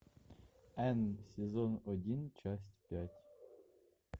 энн сезон один часть пять